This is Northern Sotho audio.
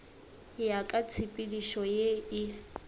ya ka tshepedišo ye e